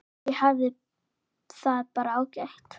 Ég hafði það bara ágætt.